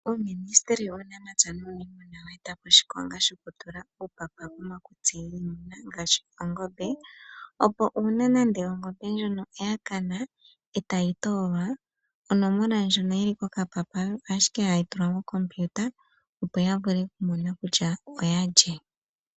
Uuministeli wuunamapya nuuniimuna owa eta po oshikonga shoku tula uupapa komakutsi giimuna ngaashi oongombe, opo uuna nande ongombe ndjono ya kana etayi toolwa onomola ndjono yili kokapapa oyo ashike hayi tulwa mokompiuta opo ya vule okumona kutya oya lye.